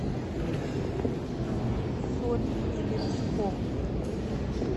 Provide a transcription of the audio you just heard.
соль илецком